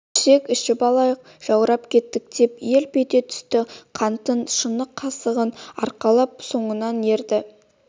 ішсек ішіп алайық жаурап кеттік деп еліп ете түст қантын шыны-қасығын арқалап соңынан ерді